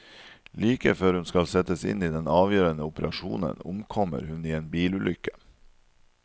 Like før hun skal settes inn i den avgjørende operasjonen, omkommer hun i en bilulykke.